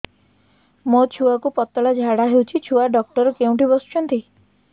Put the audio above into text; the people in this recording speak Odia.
ମୋ ଛୁଆକୁ ପତଳା ଝାଡ଼ା ହେଉଛି ଛୁଆ ଡକ୍ଟର କେଉଁଠି ବସୁଛନ୍ତି